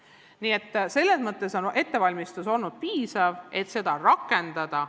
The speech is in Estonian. Nii et selles mõttes on ettevalmistus olnud piisav, et uut hindamisviisi rakendada.